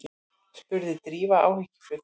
spurði Drífa áhyggjufull.